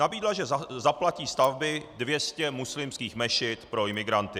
Nabídla, že zaplatí stavby 200 muslimských mešit pro imigranty.